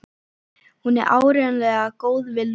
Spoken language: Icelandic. Hún er áreiðanlega góð við Lúlla.